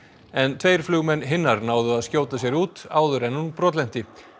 en tveir flugmenn hinnar náðu að skjóta sér út áður en hún brotlenti